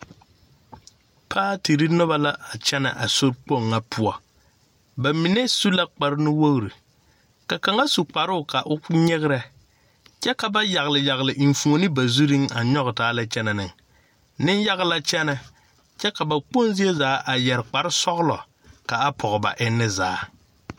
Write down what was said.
Paatiri noba la kyɛnɛ a sori kpoŋ ŋa poɔ ba mine su la kpare nu wogri ka kaŋa su kparoo ka o nyigrɛ kyɛ ka ba yagliyagli eŋfuoni ba zuriŋ a nyɔge taa lɛ kyɛnɛ ne niŋ yaga la kyɛnɛ kyɛ ka ba kpoŋ zie zaa a yɛri kpare sɔglɔ kaa pɔŋ ba enni zaa.